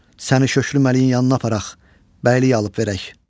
Səni şöklü məliyinin yanına aparaq, bəylik alıb verək.